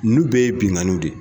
Ninnu bɛɛ ye binnkanniw de ye